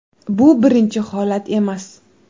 Bu birinchi holat emas.